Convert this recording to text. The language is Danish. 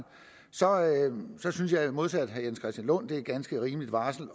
synes jeg modsat herre jens christian lund at det er et ganske rimeligt varsel